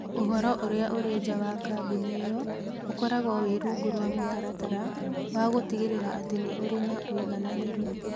Ũhoro ũrĩa ũrĩ nja wa kambuni ĩyo ũkoragwo wĩ rungu rwa mũtaratara wa gũtigĩrĩra atĩ nĩ ũrĩ na ũigananĩru.